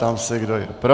Ptám se, kdo je pro.